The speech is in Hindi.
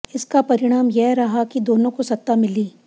इसका परिणाम यह रहा कि दोनों को सत्ता मिली